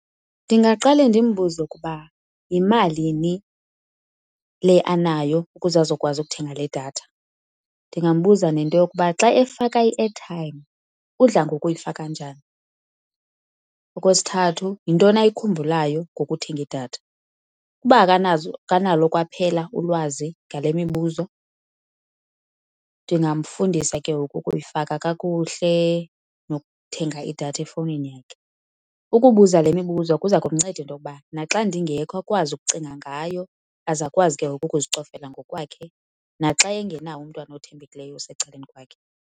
Ndingaqale ndimbuze ukuba yimalini le anayo ukuze azokwazi ukuthenga le datha. Ndingambuza nento yokuba xa efaka i-airtime udla ngokuyifaka njani. Okwesithathu, yintoni ayikhumbulayo ngokuthenga idatha. Uba akanalo kwaphela ulwazi ngale mibuzo, ndingamfundisa ke ngoku ukuyifaka kakuhle nokuthenga idatha efowunini yakhe. Ukubuza le mibuzo kuza kumnceda into yokuba naxa ndingekho akwazi ukucinga ngayo aze akwazi ke ngoku ukuzicofela ngokwakhe naxa engenawo umntwana othembekileyo osecaleni kwakhe.